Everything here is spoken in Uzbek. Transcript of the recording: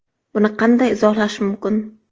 Buni qanday izohlash mumkin?